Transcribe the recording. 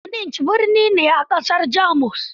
Munich birni ne a ƙasar Jamus.